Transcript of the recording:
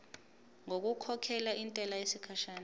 ngokukhokhela intela yesikhashana